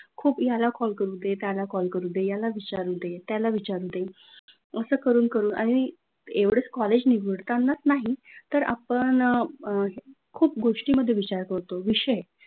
खूप याला कॉल करूदे, त्याला कॉल करूदे, यायला विचारूदे त्याला विचारूदे, असं करून करून आणि एवढेच कॉलेज निवडताना नाही तर आपण अ खूप गोष्टींमध्ये विचार करतो विषय,